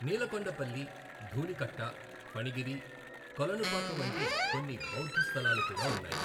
నీలకొండపల్లి, ధూళికట్ట, ఫణిగిరి, కొలనుపాక వంటి కొన్ని బౌద్ధ స్థలాలు కూడా ఉన్నాయి.